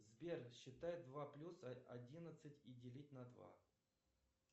сбер считай два плюс одиннадцать и делить на два